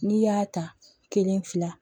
N'i y'a ta kelen fila